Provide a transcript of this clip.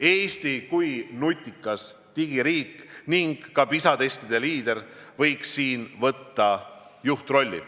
Eesti kui nutikas digiriik ning ka PISA testide liider võiks võtta siin juhirolli.